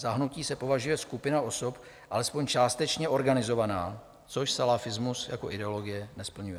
Za hnutí se považuje skupina osob alespoň částečně organizovaná, což salafismus jako ideologie nesplňuje.